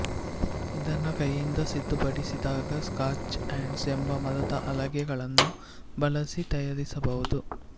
ಇದನ್ನು ಕೈಯಿಂದ ಸಿದ್ಧಪಡಿಸಿದಾಗ ಸ್ಕಾಚ್ ಹ್ಯಾಂಡ್ಸ್ ಎಂಬ ಮರದ ಹಲಗೆಗಳನ್ನು ಬಳಸಿ ತಯಾರಿಸಬಹುದು